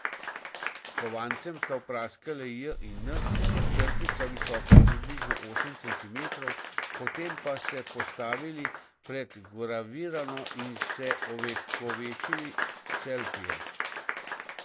S kovancem sta vpraskali J in N, črki sta visoki približno osem centimetrov, potem pa se postavili pred vgravirano in se ovekovečili s selfijem.